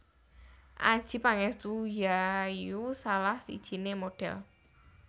Adjie Pangestu yaiu salah sijiné modhel